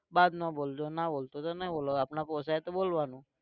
बाद માં બોલજો ના બોલશો તો નહિ બોલવાનું આપણે પોસાય તો બોલવાનું